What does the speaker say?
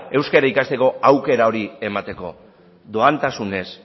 euskara ikasteko aukera hori emateko doakotasunean